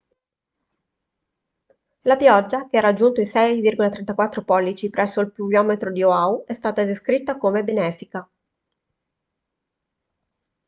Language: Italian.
la pioggia che ha raggiunto i 6,34 pollici presso il pluviometro di oahu è stata descritta come benefica